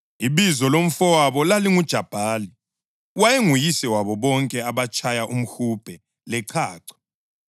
Ibizo lomfowabo lalinguJubhali; wayenguyise wabo bonke abatshaya umhubhe lechacho.